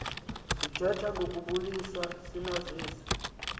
sithetha ngokubulisa sinazise